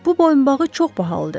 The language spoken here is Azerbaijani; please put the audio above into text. Bu boyunbağı çox bahalıdır.